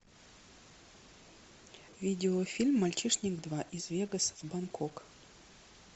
видео фильм мальчишник два из вегаса в бангкок